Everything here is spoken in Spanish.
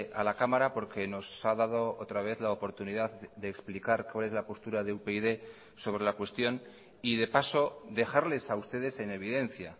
a la cámara porque nos ha dado otra vez la oportunidad de explicar cuál es la postura de upyd sobre la cuestión y de paso dejarles a ustedes en evidencia